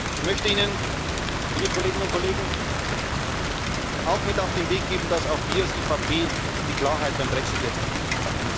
Ich möchte Ihnen, liebe Kolleginnen und Kollegen, auch mit auf den Weg geben, dass auch wir als EVP die Klarheit beim Brexit jetzt begrüßen.